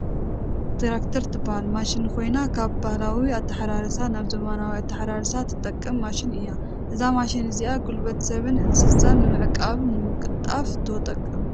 ትራክተር ትበሃል ማሽን ኮይና ካብ ባህላዊ ኣተሓራርሳ ናብ ዘመናዊ ኣተሓራርሳ ትጠቅም ማሽን እያ። እዛ መሽን እዚኣ ጉልበት ሰብን እንስሳን ንምዕቃብ ንምቅልጣፍ ትጠቅም።